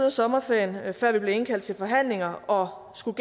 af sommerferien før vi blev indkaldt til forhandlinger og skulle